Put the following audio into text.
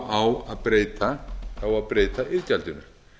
á að breyta iðgjaldinu